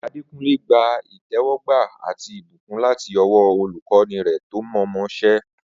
Adekunle gba ìtẹ́wọ́gbà àti ìbùkún láti ọwọ́ olùkọ́ni rẹ̀ tó mọ̀ọ́mọṣẹ́.